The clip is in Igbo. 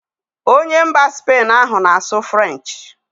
Onye mba Spain ahụ na-asụ frenchị